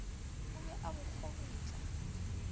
o be a bo kgobutla